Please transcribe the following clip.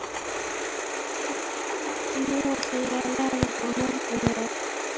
Og nú ætla ég að laga þér morgunverð.